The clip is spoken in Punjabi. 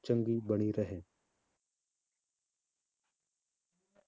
ਚੰਗੀ ਬਣੀ ਰਹੇ।